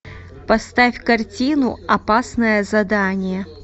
поставь картину опасное задание